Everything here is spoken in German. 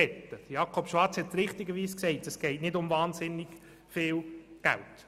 Grossrat Schwarz hat richtig gesagt, es gehe nicht um wahnsinnig viel Geld.